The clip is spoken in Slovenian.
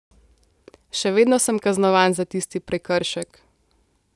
Še vedno sem kaznovan za tisti prekršek.